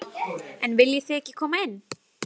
En viljið þið ekki koma inn?